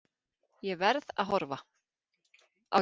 Ég verð að horfa.